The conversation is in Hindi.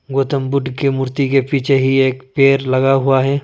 गौतम बुद्ध की मूर्ति के पीछे ही एक पेड़ लगा हुआ है।